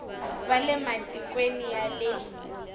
va le matikweni ya le